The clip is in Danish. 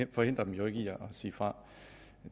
vi forhindrer dem jo ikke i at sige fra